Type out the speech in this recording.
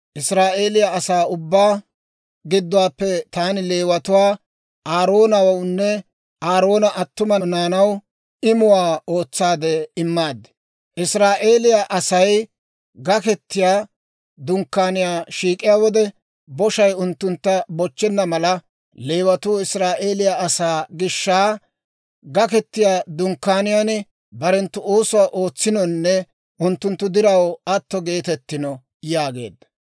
Israa'eeliyaa asaa ubbaa gidduwaappe taani Leewatuwaa Aaroonawunne Aaroona attuma naanaw imuwaa ootsaade immaad. Israa'eeliyaa Asay Gaketiyaa Dunkkaaniyaa shiik'iyaa wode, boshay unttuntta bochchenna mala, Leewatuu Israa'eeliyaa asaa gishsha Gaketiyaa Dunkkaaniyaan barenttu oosuwaa ootsinonne unttunttu diraw atto geetettino» yaageedda.